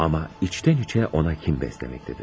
Amma içdən-içə ona kin bəsləməkdədir.